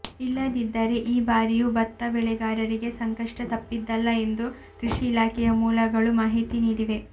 ಇಲ್ಲದಿದ್ದರೆ ಈ ಬಾರಿಯೂ ಭತ್ತ ಬೆಳೆಗಾರರಿಗೆ ಸಂಕಷ್ಟ ತಪ್ಪಿದ್ದಲ್ಲ ಎಂದು ಕೃಷಿ ಇಲಾಖೆಯ ಮೂಲಗಳು ಮಾಹಿತಿ ನೀಡಿವೆ